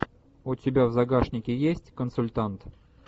у тебя в загашнике есть консультант